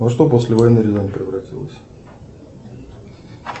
во что после войны рязань превратилась